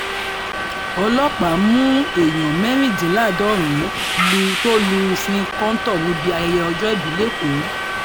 ọlọ́pàá mú èèyàn mẹ́rìndínláàádọ́rin lu tó lùfin kọ́ńtò níbi ayẹyẹ ọjọ́òbí lẹ́kọ̀ọ́